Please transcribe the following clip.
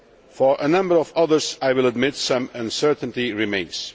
For a number of others I will admit that some uncertainty remains.